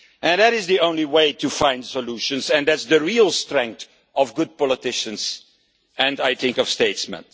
That is the only way to find solutions, and that is the real strength of good politicians and of statesmen.